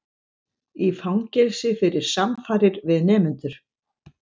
Í fangelsi fyrir samfarir við nemendur